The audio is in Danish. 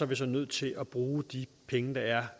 vi så nødt til at bruge de penge der er